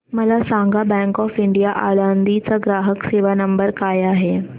मला सांगा bank of India Alandi चा ग्राहक सेवा नंबर काय आहे